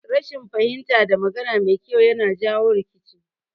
Rashin fahimta da magana mai kyau yakan jawo rikici